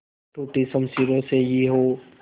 टूटी शमशीरों से ही हो